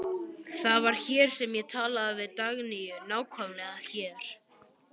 Það var hér sem ég talaði við Dagnýju, nákvæmlega hér.